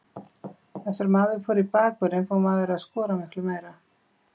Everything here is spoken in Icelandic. Eftir að maður fór í bakvörðinn fór maður að skora miklu meira.